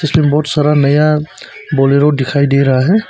इसमें बहोत सारा नया बोलेरा दिखाई दे रहा है।